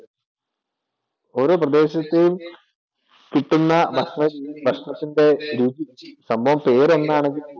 ഓരോ പ്രദേശത്തെയും കിട്ടുന്ന ഭക്ഷണഭക്ഷണത്തിൻ്റെ രുചി സംഭവം പേരൊന്നാണെങ്കിൽ പോലും